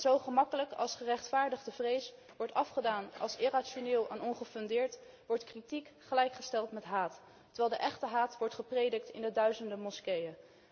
Zo gemakkelijk als gerechtvaardigde vrees wordt afgedaan als irrationeel en ongefundeerd, zo gemakkelijk wordt kritiek gelijkgesteld met haat, terwijl de echte haat wordt gepredikt in de duizenden moskeeën.